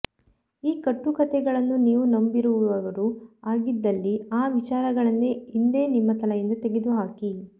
ಈ ಕಟ್ಟುಕಥೆಗಳನ್ನು ನೀವು ನಂಬಿರುವವರು ಆಗಿದ್ದಲ್ಲಿ ಆ ವಿಚಾರಗಳನ್ನೇ ಇಂದೇ ನಿಮ್ಮ ತಲೆಯಿಂದ ತೆಗೆದುಹಾಕಿ